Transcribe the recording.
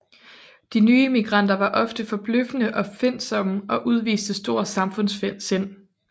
De nye immigranter var ofte forbløffende opfindsomme og udviste stort samfundssind